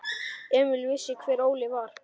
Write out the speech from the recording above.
Emil vissi hver Óli var.